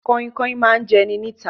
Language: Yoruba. Kainkain ma jẹ ẹ́ ní ìta.